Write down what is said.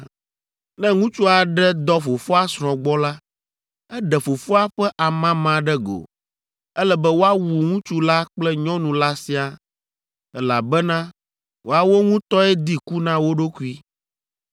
“ ‘Ne ŋutsu aɖe dɔ fofoa srɔ̃ gbɔ la, eɖe fofoa ƒe amama ɖe go. Ele be woawu ŋutsu la kple nyɔnu la siaa, elabena woawo ŋutɔe di ku na wo ɖokui.